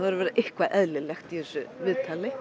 að vera eitthvað eðlilegt í þessu viðtali